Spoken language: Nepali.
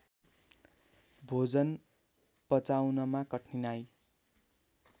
भोजन पचाउनमा कठिनाइ